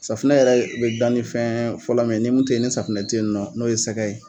Safinɛ yɛrɛ be dan nin fɛn fɔlɔ min ye ni min te ye ni safinɛ te yen nɔ n'o ye sɛgɛ ye